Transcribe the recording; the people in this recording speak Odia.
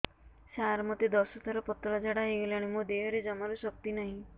ସାର ମୋତେ ଦଶ ଥର ପତଳା ଝାଡା ହେଇଗଲାଣି ମୋ ଦେହରେ ଜମାରୁ ଶକ୍ତି ନାହିଁ